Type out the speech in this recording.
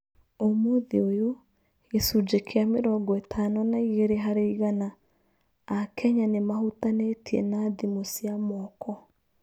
Ũmũthĩ ũyũ, gĩchunjĩ kĩa mĩrongo ĩtano na igĩrĩ harĩ igana a Kenya nĩ mahutanĩtie na thimũ cia moko